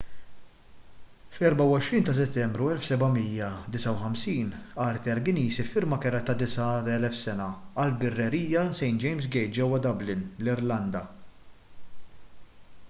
fl-24 ta' settembru 1759 arthur guinness iffirma kera ta' 9,000 sena għall-birrerija st james' gate ġewwa dublin l-irlanda